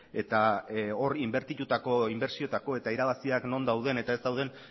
eta hor inbertitutako inbertsioetako eta irabaziak non dauden eta ez dauden